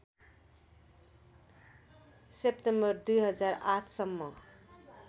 September २००८ सम्म